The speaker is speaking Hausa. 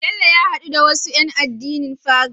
Bello ya hadu da wasu yan addinin Pagan